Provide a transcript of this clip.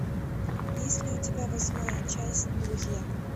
есть ли у тебя восьмая часть друзья